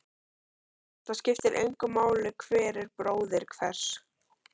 Það skiptir engu máli hver er bróðir hvers.